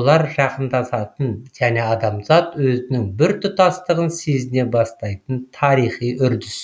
олар жақындасатын және адамзат өзінің біртұтастығын сезіне бастайтын тарихи үрдіс